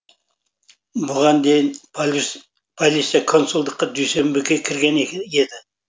бұған дейін полиция консулдыққа дүйсенбіге кірген еді